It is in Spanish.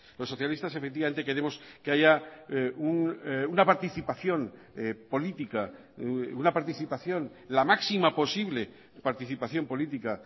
los socialistas efectivamente queremos que haya una participación política una participación la máxima posible participación política